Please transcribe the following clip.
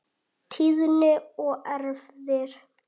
Tíðni og erfðir